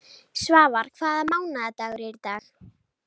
Svafar, hvaða mánaðardagur er í dag?